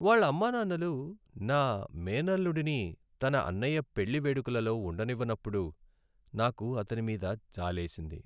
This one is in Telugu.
వాళ్ళ అమ్మానాన్నలు నా మేనల్లుడిని తన అన్నయ్య పెళ్లి వేడుకలలో ఉండనివ్వనప్పుడు, నాకు అతని మీద జాలేసింది.